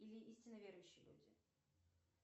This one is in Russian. или истинно верующие люди